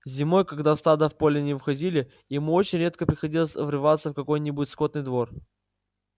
зимой когда стада в поле не выходили ему очень редко приходилось врываться в какой-нибудь скотный двор